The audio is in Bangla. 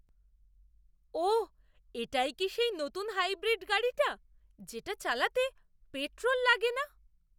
ওহ! এটাই কি সেই নতুন হাইব্রিড গাড়িটা, যেটা চালাতে পেট্রোল লাগে না?